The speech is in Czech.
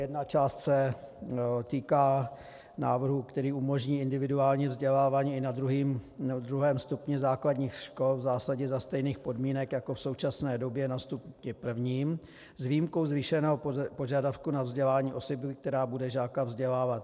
Jedna část se týká návrhu, který umožní individuální vzdělávání i na druhém stupni základních škol v zásadě za stejných podmínek jako v současné době na stupni prvním, s výjimkou zvýšeného požadavku na vzdělání osoby, která bude žáka vzdělávat.